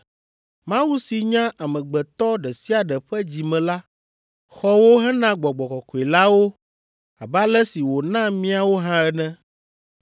Mawu si nya amegbetɔ ɖe sia ɖe ƒe dzi me la xɔ wo hena Gbɔgbɔ Kɔkɔe la wo abe ale si wòna míawo hã ene.